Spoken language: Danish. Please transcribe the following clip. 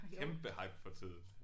Kæmpe hype for tiden